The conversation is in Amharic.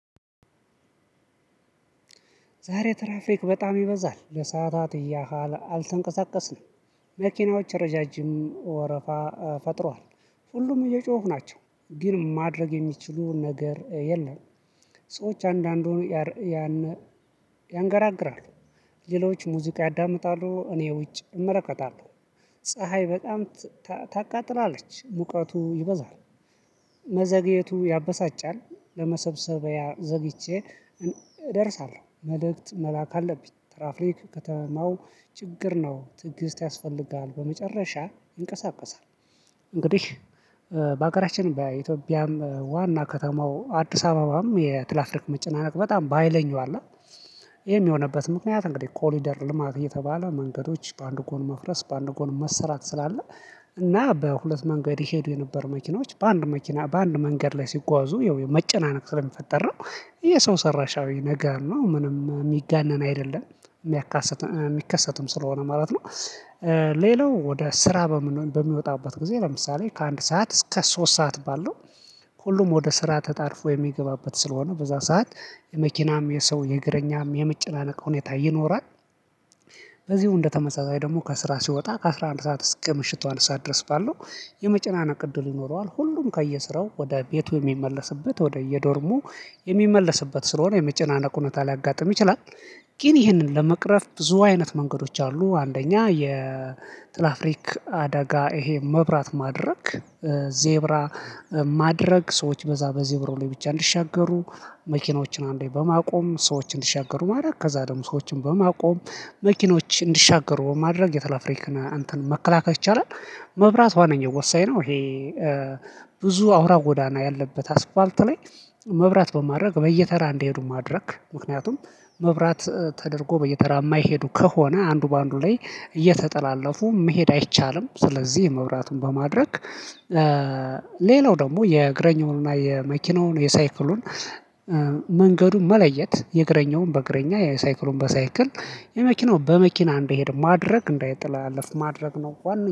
ዛሬ ትራፍክ በጣም ይበዛል ለሰአታት ያህል አልተንቀሳቀስንም መኪናዎች ረዣዥም ወረፋ ፈጥሯል ሁሉም እየጮሁ ናቸው ግን ማድረግ የሚችሉ ነገር የለም። ሰዎች አንዳንድ ሆኖ ያን ያንገራግራሉ ሌሎች ሙዚቃ ያዳምጣሉ እኔ ውጭ እመለከታለሁ። ፀሀይ በጣም ታቃጥላለች ሙቀቱ ይበዛል። መዘግየቱ ያበሳጫል ለመሰብሰቢያ ዘግይቼ እደርሳለሁ። መልእክት መላክ አለብኝ። ትራፍክ ከተማው ችግር ነው ትዕግስት ያስፈልግሃል ያስፈልጋል። በመጨረሻ ይንቀሳቀሳል። እንግዲህ በሀገራችን በኢትዮጵያም ዋና ከተማው አዲስ አበባም የትራፍክ መጨናነቅ በጣም በሃይለኛው አለ። ይሄም የሆነበት ምክንያት እንግዲህ ኮሊደር ልማት እየተባለ መንገዶች በአንድ ጎን መፍረስ በአንድ ጎን መሰራት ስላለ። እና በሁለት መንገድ ሄዱ የነበሩ መኪኖች በአንድ መኪና በአንድ መንገድ ላይ ሲጓዙ መጨናነቅ ስለሚፈጠር ነው። የሰው ሰራሻዊ ነገር ነው ምንም የሚጋነን አይደለም። የሚከሰትም ስለሆነ ማለት ነው። ሌላው ወደ ስራ በምን በሚወጣበት ጊዜ ለምሳሌ ከአንድ ሰዓት እስከ ሶስት ሰዓት ባለው። ሁሉም ወደ ስራ ተጣድፎ የሚገባበት ስለሆነ በዛ ሰዓት የመኪናም የሰው የእግረኛም የመጨናነቅ ሁኔታ ይኖራል። በዚህም እንደተመሳሳይ ደግሞ ከስራ ሲወጣ ከአስራ አንድ ሰዓት እስከ ምሽቱ አንድ ሰዓት ድረስ ባለው። የመጨናነቅ እድል ይኖረዋል ሁሉም ከየስራው ወደ ቤቱ የሚመለስበት ወደ የዶርሙ የሚመለስበት ስለሆነ የመጨናነቅ ሁኔታ ሊያጋጥም ይችላል። ግን ይህንን ለመቅረፍ ብዙ አይነት መንገዶች አሉ አንደኛ የትራፍክ አደጋ ይሄ መብራት ማድረግ ዜብራ ማድረግ ሰዎች በዛ በዘብሩ ላይ ብቻ እንዲሻገሩ መኪኖችን አንዴ በማቆም ሰዎች እንዲሻገሩ ማድረግ ከዛ ደግሞ ሰዎችን በማቆም መኪኖች እንዲሻገሩ ማድረግ የትራፍክን አንተን መከላከል ይቻላል። መብራት ዋነኛ ወሳኝ ነው ይሄ። ብዙ አውራ ጎዳና ያለበት አስፋልት ላይ መብራት በማድረግ በየተራ እንዲሄዱ ማድረግ ምክንያቱም መብራት ተደርጎ በየተራ የማይሄዱ ከሆነ አንዱ በአንዱ ላይ እየተጠላለፉ መሄድ አይቻልም ስለዚህ የመብራቱን በማድረግ። ሌላው ደግሞ የእግረኛውንና የመኪናውን የሳይክሉን መንገዱን መለየት የእግረኛውን በእግረኛ የሳይክሉን በሳይክል የመኪናው በመኪና እንደሄደ ማድረግ እንዳይጠላለፍ ማድረግ ነው። ዋና